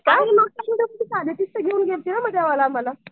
आणि मग घेऊन गेलेले मला